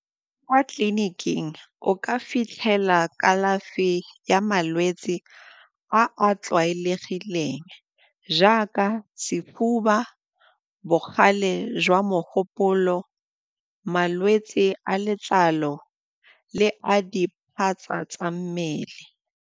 Kwa tleliniking, o ka fitlhela kalafi ya malwetse a a tlwaelegileng jaaka sefuba, bogale jwa mogopolo, malwetse a letlalo le a diphatsa tsa mmele.